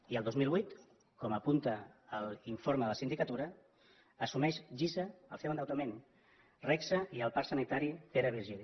i el dos mil vuit com apunta l’informe de la sindicatura assumeix gisa el seu endeutament regsa i el parc sanitari pere virgili